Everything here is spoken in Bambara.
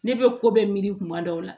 Ne bɛ ko bɛɛ miiri kuma dɔw la